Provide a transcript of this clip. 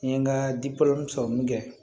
N ye n ka sɔrɔ min kɛ